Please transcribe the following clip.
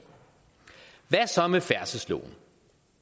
hvad med så med færdselsloven